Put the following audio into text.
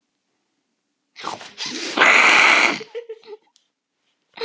Við höfum borð fyrir báru.